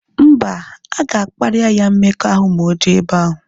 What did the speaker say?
Mba, aga kparia ya mmekọahụ ma oje ebe ahu